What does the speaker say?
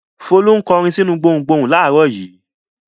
Folú ń kọrin sínú gbohùngbohùn láàárọ̀ yìí.